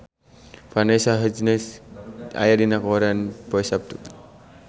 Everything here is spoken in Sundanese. Vanessa Hudgens aya dina koran poe Saptu